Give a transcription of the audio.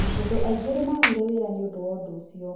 Andũ aingĩ nĩ maagire wĩra nĩ ũndũ wa ũndũ ũcio.